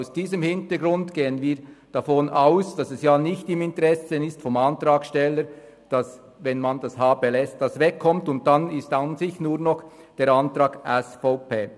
Vor diesem Hintergrund gehen wir davon aus, dass es nicht im Interesse des Antragstellers ist, dass man das h belässt, das wegkommt, weil es dann an und für sich nur noch der Antrag SVP wäre.